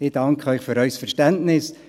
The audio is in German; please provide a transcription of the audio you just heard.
Ich danke Ihnen für Ihr Verständnis.